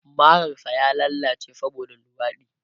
Marar sa ya lallace saboda luwaɗi